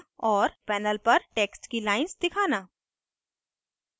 * panel पर text की lines दिखाना